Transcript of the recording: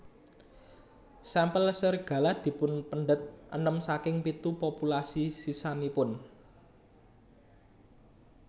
Sampel serigala dipunpendet enem saking pitu populasi sisanipun